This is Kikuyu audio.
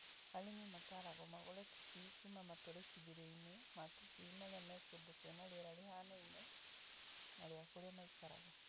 Arĩmi mataragwo magũre tũcui kuma matũrĩkithĩrio-inĩ ma tũcui marĩa me kũndũ kwĩna rĩera rĩhanaine na rĩa kũrĩa maikaraga.